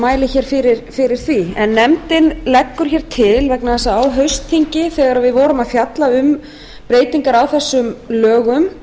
mæli hér fyrir því nefndin leggur hér til vegna þess að á haustþingi þegar við vorum að fjalla um breytingar á þessum lögum